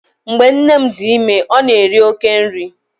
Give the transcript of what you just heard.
Mgbe nne m dị ime, ọ na-eri oké nri.